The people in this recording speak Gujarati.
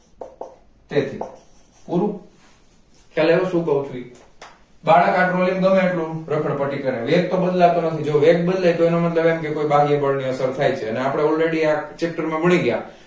તેથી પૂરું ખ્યાલ આવ્યો શું કાવ છુંઈ બાળક આ trolly ને ગમે તેટલું રખડપટ્ટી કરે વેગ તો બદલ તો નથી અને જો વેગ બદલાય તો એનો મતલબ એમ કે કોઈ બાહ્યબળ ની અસર થાય છે અને અપડે all ready આ chapter માં ભણી ગયા